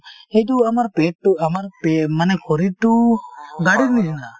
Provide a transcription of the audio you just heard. সেইটো আমাৰ পেটটো , আমাৰ পে মানে আমাৰ শৰীৰটো গাড়ীৰ নিছিনা।